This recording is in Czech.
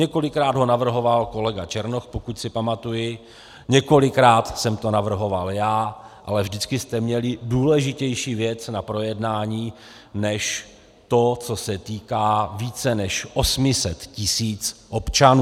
Několikrát ho navrhoval kolega Černoch, pokud si pamatuji, několikrát jsem to navrhoval já, ale vždycky jste měli důležitější věc na projednání než to, co se týká více než 800 tisíc občanů.